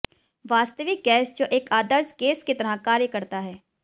वास्तविक गैस जो एक आदर्श गैस की तरह कार्य करता है